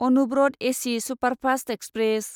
Anuvrat AC superfast express